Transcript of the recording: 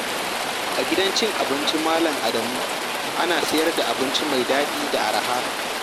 A gidan abincin Malam Adamu ana sayar da abinci mai daɗi da arha.